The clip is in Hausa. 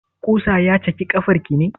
Ƙusa ya cake ƙafar ki ne?